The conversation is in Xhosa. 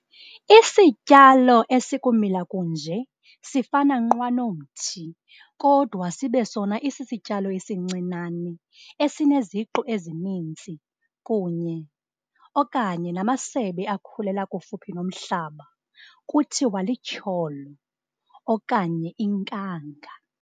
Isityalo esikumila kunje sifana nqwa nomthi, kodwa sibe sona isisityalo esincinane, esineziqu ezininzi kunye okanye namasebe akhulela kufuphi nomhlaba, kuthiwa lityholo, okanye inkanga.